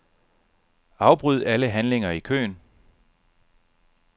Afbryd alle handlinger i køen.